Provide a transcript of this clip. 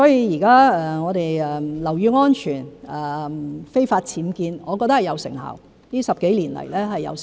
現在我們在處理樓宇安全、非法僭建方面，我覺得是有成效，這10多年來是有成效。